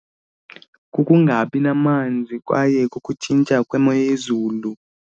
Kukungabi namanzi kwaye kukutshintsha kwemo yezulu.